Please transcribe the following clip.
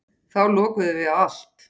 Þá lokuðum við á allt.